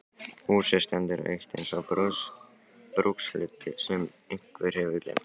Húsið stendur autt eins og brúkshlutur sem einhver hefur gleymt.